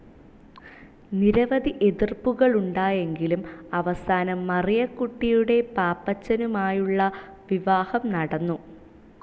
നിരവധി എതിർപ്പുകളുണ്ടായെങ്കിലും അവസാനം മറിയക്കുട്ടിയുടെ പാപ്പച്ചനുമായുള്ള വിവാഹം നടന്നു.